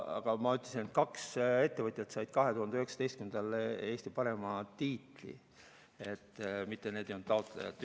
Aga ma ütlesin, et kaks ettevõtjat said 2019. aastal Eesti parima tiitli, mitte nad ei olnud taotlejad.